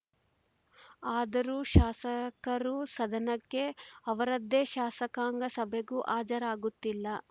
ಆದರೂ ಶಾಸಕರೂ ಸದನಕ್ಕೆ ಅವರದ್ದೇ ಶಾಸಕಾಂಗ ಸಭೆಗೂ ಹಾಜರಾಗುತ್ತಿಲ್ಲ